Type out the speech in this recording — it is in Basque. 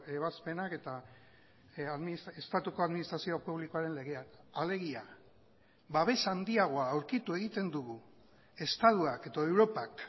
ebazpenak eta estatuko administrazio publikoaren legeak alegia babes handiagoa aurkitu egiten dugu estatuak edo europak